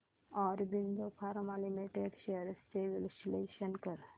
Aurobindo pharma limited shares चे विश्लेषण कर